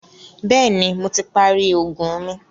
Bẹ̀ẹ́ni, Mo ti parí oògùn mi.